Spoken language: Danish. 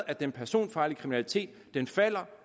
at den personfarlige kriminalitet falder